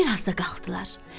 Bir az da qalxdılar.